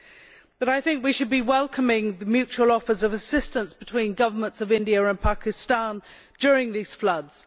However, I think that we should be welcoming the mutual offers of assistance between the governments of India and Pakistan during these floods.